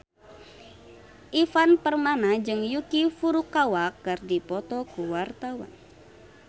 Ivan Permana jeung Yuki Furukawa keur dipoto ku wartawan